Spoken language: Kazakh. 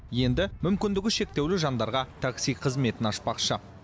енді мүмкіндігі шектеулі жандарға такси қызметін ашпақшы